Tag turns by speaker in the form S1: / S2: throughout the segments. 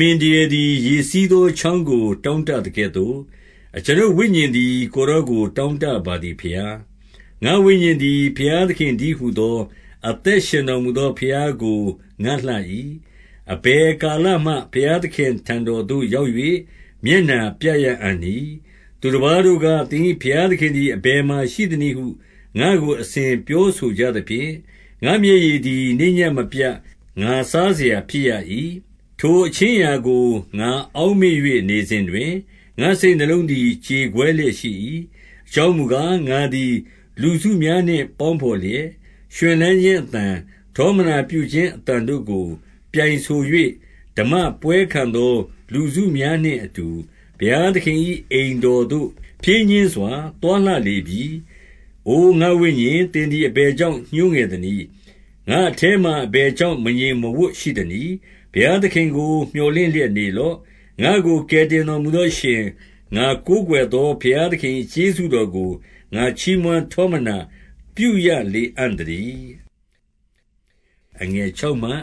S1: မင် ဒရယ်သည် ရေစီးသော ချောင်းကို တောင့်တသကဲ့သို့၊ အကျွန်ုပ်ဝိညာဉ်သည် ကိုယ်တော်ကို တောင့်တပါသည်ဘုရား။ 2 ငါ့ဝိညာဉ်သည် ဘုရားသခင်တည်းဟူသော အသက်ရှင်တော်မူသော ဘုရားကိုငတ်လှ၏။ အဘယ် ကာလမှ ဘုရားသခင့်ထံတော်သို့ ရောက်၍မျက်နှာပြရအံ့ နည်း။ 3 သူတပါးတို့က၊ သင်၏ဘုရားသခင်သည် အဘယ်မှာရှိသနည်းဟု ငါ့ကိုအစဉ်ပြောဆိုကြသဖြင့်၊ ငါ့မျက်ရည်သည် နေ့ညဉ့်မပြတ် ငါစားစရာဖြစ်ရ၏။ 4 ထိုအခြင်းအရာကို ငါအောက်မေ့၍နေစဉ်တွင်၊ ငါ့စိတ်နှလုံးသည် ကြေကွဲလျက်ရှိ၏။ အကြောင်းမူကား၊ ငါသည်လူစုများနှင့် ပေါင်းဘော်လျက်၊ ရွှင်လန်းခြင်း အသံ၊ ထောမနာပြုခြင်းအသံတို့ကို ပြိုင်ဆို၍၊ ဓမ္မပွဲခံ သောလူစုများနှင့်အတူ ဘုရားသခင်၏ အိမ်တော်သို့ ဖြည်းညှင်းစွာ သွားလှလေပြီ။ 5 အိုငါ့ဝိညာဉ်၊ သင်သည်အဘယ်ကြောင့် ညှိုးငယ် သနည်း။ ငါ့အထဲမှာအဘယ်ကြောင့် မငြိမ်းမဝပ်ရှိသ နည်း။ ဘုရားသခင်ကို မြော်လင့်လျက်နေလော့။ ငါ့ကို ကယ်တင်တော်မူသောအရှင်၊ ငါကိုးကွယ်သော ဘုရား သခင်၏ ကျေးဇူးတော်ကို ငါချီးမွမ်းထောမနာပြုရလေအံ့ သတည်း။ 6 အကျွန်ုပ်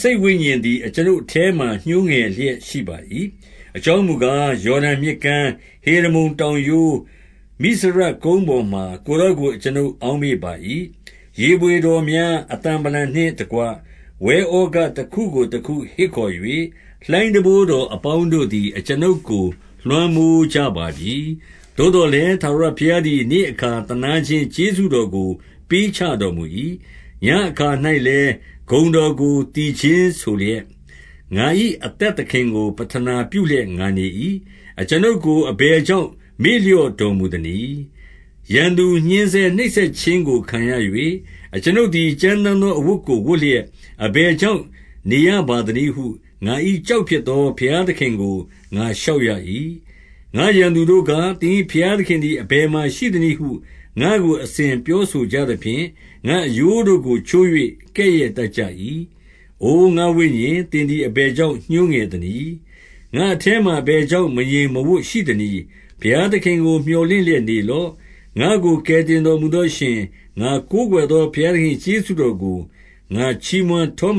S1: စိတ်ဝိညာဉ်သည် အကျွန်ုပ်အထဲမှာ ညှိုးငယ်လျက်ရှိပါ၏။ အကြောင်းမူကား၊ ယော်ဒန်မြစ် ကမ်း၊ ဟေရမုန်တော်ရိုး၊ မိဇရကုန်းပေါ်မှာ ကိုယ်တော်ကို အကျွန်ုပ်အောက်မေ့ပါ၏။ 7 ရေဘွေတော်များအသံဗလံနှင့်တကွ ဝဲဩဃ တခုကို တခုဟစ်ခေါ်၍ လှိုင်းတံပိုးတော်အပေါင်းတို့သည် အကျွန်ုပ်ကို လွှမ်းမိုးကြပါပြီ။ 8 သို့သော်လည်း၊ ထာဝရဘုရားသည် နေ့အခါ သနားခြင်း ကျေးဇူးတော်ကို ပေးချေတော်မူ၏။ ညဉ့်အခါ ၌လည်း ဂုဏ်တော်ကို သီချင်းဆိုလျက်၊ ငါ့၏အသက် သခင်ကို ပဌနာပြုလျက် ငါနေ၏။ 9 အကျွန်ုပ်ကိုအဘယ်ကြောင့် မေ့လျော့တော်မူ သနည်း။ ရန်သူညှဉ်းဆဲနှိပ်စက်ခြင်းကို ခံရ၍၊ အကျွန်ုပ် သည် ကြမ်းတမ်းသောအဝတ်ကို ဝတ်လျက် အဘယ် ကြောင့် နေရပါသနည်းဟု ငါ၏ကျောက်ဖြစ်သော ဘုရား သခင်ကို ငါလျှောက်ရ၏။ 10 ငါ့ရန်သူတို့က၊ သင်၏ဘုရားသခင်သည် အဘယ်မှာရှိသနည်းဟု ငါ့ကိုအစဉ်ပြောဆိုကြသဖြင့်၊ ငါ့အရိုးတို့ကို ချိုး၍ကဲ့ရဲ့တတ်ကြ၏။ 11 အိုငါ့ဝိညာဉ်၊ သင်သည် အဘယ်ကြောင့် ညှိုး ငယ်သနည်း။ ငါ့အထဲမှာ အဘယ်ကြောင့် မငြိမ်မဝပ်ရှိ သနည်း။ ဘုရားသခင်ကို မြော်လင့်လျက်နေလော့။ ငါ့ကိုကယ်တင်တော်မူသောအရှင်၊ ငါကိုးကွယ်သော ဘုရားသခင်၏ကျေးဇူးတော်ကို ငါချီးမွမ်းထောမ